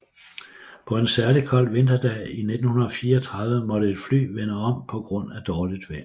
På en særlig kold vinterdag i 1934 måtte et fly vende om på grund af dårligt vejr